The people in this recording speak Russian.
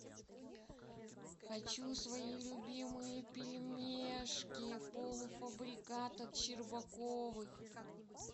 хочу свои любимые пельмешки полуфабрикат от щербаковых